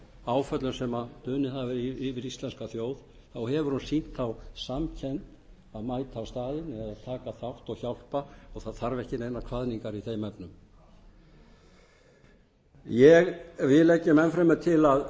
áföllum sem dunið hafa yfir íslenska þjóð þá hefur hún sýnt þá samkennd að mæta á staðinn eða taka þátt og hjálpa það þarf ekki neinar kvaðningar í þeim efnum við leggjum enn fremur til að